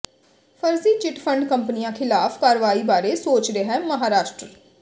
ਫਰਜ਼ੀ chit fund ਕੰਪਨੀਆਂ ਖ਼ਿਲਾਫ਼ ਕਾਰਵਾਈ ਬਾਰੇ ਸੋਚ ਰਿਹੈ ਮਹਾਰਾਸ਼ਟਰ